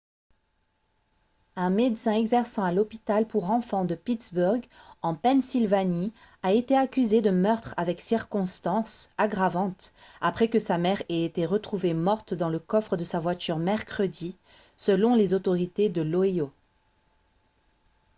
un médecin exerçant à l'hôpital pour enfants de pittsburgh en pennsylvanie a été accusé de meurtre avec circonstances aggravantes après que sa mère ait été retrouvée morte dans le coffre de sa voiture mercredi selon les autorités de l'ohio